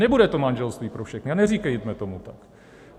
Nebude to manželství pro všechny a neříkejme tomu tak!